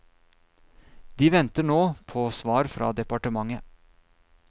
De venter nå på svar fra departementet.